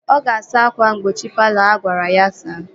Ọ ga-asa ákwà mgbochi palọ ahụ agwara ya saa